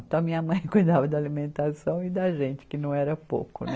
Então, minha mãe cuidava da alimentação e da gente, que não era pouco, né?